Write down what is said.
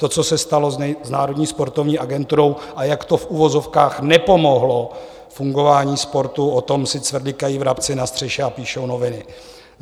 To, co se stalo s Národní sportovní agenturou a jak to v uvozovkách nepomohlo fungování sportu, o tom si cvrlikají vrabci na střeše a píšou noviny.